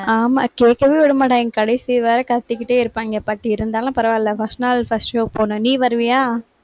ஆமா, கேட்கவே விடமாட்டாங்க, கடைசி வரை கத்திக்கிட்டே இருப்பாங்க. but இருந்தாலும் பரவாயில்லை. first நாள் first show போகணும். நீ வருவியா